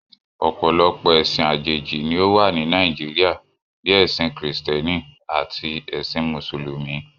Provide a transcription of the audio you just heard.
Ọ̀pọ̀lọpọ̀ ẹ̀sìn àjèjì ni ó wà ní Nàìjíríà, bíi ẹ̀sìn krìstẹ́nì, àti ẹ̀sìn mùsùlùmí